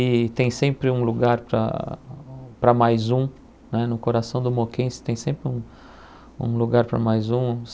E tem sempre um lugar para para mais um, né no coração do moquense tem sempre um um lugar para mais um.